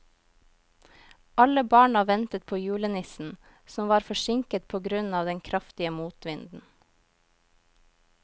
Alle barna ventet på julenissen, som var forsinket på grunn av den kraftige motvinden.